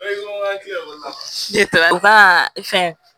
fɛn